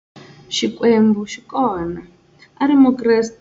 Xikwembu xi kona, a a ri Mukreste.